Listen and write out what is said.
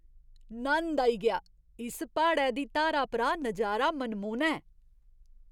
नंद आई गेआ! इस प्हाड़ै दी धारा परा नजारा मनमोह्ना ऐ!